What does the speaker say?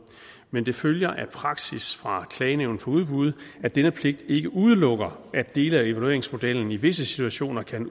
men det følger af praksis fra klagenævnet for udbud at denne pligt ikke udelukker at dele af evalueringsmodellen i visse situationer kan